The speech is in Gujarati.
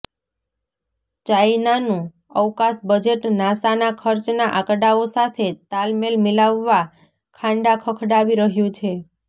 ચાયનાનુ અવકાશ બજેટ નાસાના ખર્ચના આંકડાઓ સાથે તાલમેલ મિલાવવા ખાંડા ખખડાવી રહ્યું છે